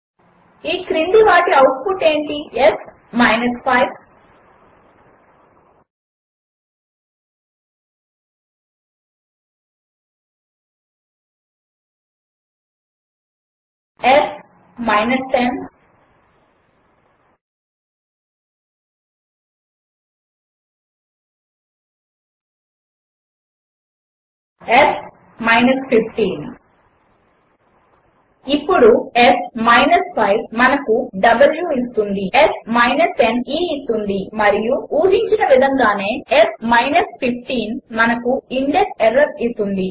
ఈ క్రింది వాటి అవుట్పుట్ ఏమిటి s 5 s 10 s 15 ఇప్పుడు s 5 మనకు W ఇస్తుంది s 10 e ఇస్తుంది మరియు s 15 ఊహించిన విధంగానేమనకు ఇండెక్సెర్రర్ ఇస్తుంది